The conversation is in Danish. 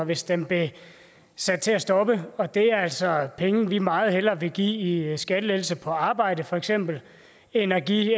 hvis den blev sat til at stoppe og det er altså penge vi meget hellere vil give i skattelettelse på arbejde for eksempel end at give